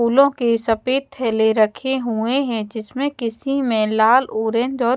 फूलों के सफेद थैले रखे हुए हैं जिसमें किसी में लाल और ऑरेंज और--